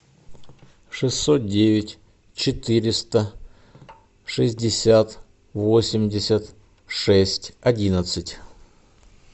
шестьсот девять четыреста шестьдесят восемьдесят шесть одиннадцать